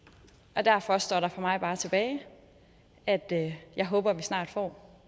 derfor står der for mig bare tilbage at at jeg håber at vi snart får